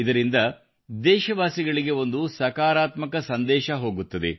ಇದರಿಂದ ದೇಶವಾಸಿಗಳಿಗೆ ಒಂದು ಸಕಾರಾತ್ಮಕ ಸಂದೇಶ ಹೋಗುತ್ತದೆ